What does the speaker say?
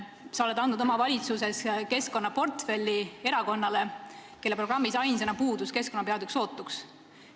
Sa oled andnud oma valitsuses keskkonnaportfelli erakonnale, kelle programmis ainsana puudus keskkonnapeatükk sootuks.